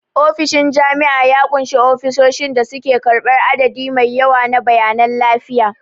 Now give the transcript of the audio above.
Ofishin jami'a ya ƙunshi ofisoshin da suke karɓar adadi mai yawa na bayanan lafiya.